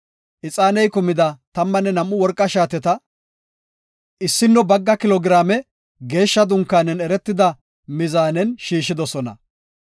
Ixaaney kumida tammanne nam7u worqa shaateta 1.4 kilo giraame geeshsha dunkaanen eretida mizaanen shiishidosona.